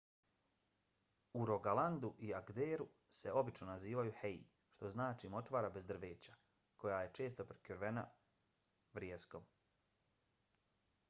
u rogalandu i agderu se obično nazivaju hei što znači močvara bez drveća koja je često prekrivena vrijeskom